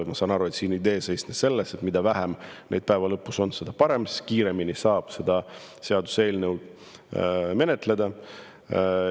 Ma saan aru, et idee seisnes selles, et mida vähem ettepanekuid päeva lõpus on, seda parem, seda kiiremini saab seaduseelnõu menetleda.